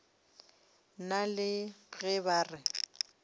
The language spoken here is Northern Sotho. nna le ge ba re